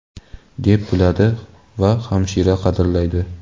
deb biladi va hamisha qadrlaydi.